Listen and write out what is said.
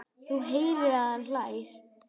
Hún heyrir að hann hlær.